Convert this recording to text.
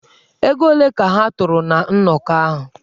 Ego ole ka ha tụrụ ná nnọkọ ahụ?